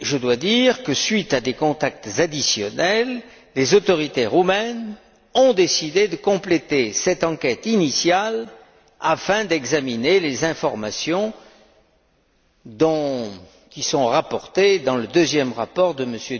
À la suite de contacts additionnels, les autorités roumaines ont décidé de compléter cette enquête initiale afin d'examiner les informations qui sont rapportées dans le deuxième rapport